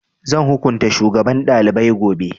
Zan hukunta shugaban ɗalibai gobe